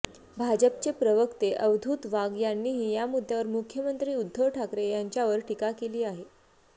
भाजपचे प्रवक्ते अवधूत वाघ यांनीही या मुद्यावर मुख्यमंत्री उद्धव ठाकरे यांच्यावर टीका केली आहे